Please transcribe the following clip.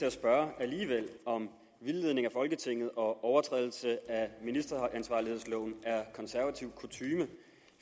at spørge om vildledning af folketinget og overtrædelser af ministeransvarlighedsloven er konservativ kutyme